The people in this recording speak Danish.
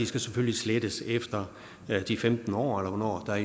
skal slettes efter de femten år eller hvornår der